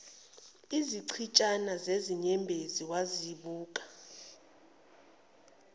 izichitshana zezinyembezi wazibuka